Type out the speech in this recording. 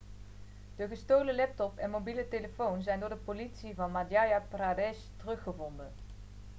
de gestolen laptop en mobiele telefoon zijn door de politie van madhya pradesh teruggevonden